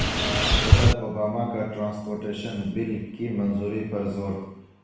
صدر اوباما کا transportation bill کی منظوری پر زور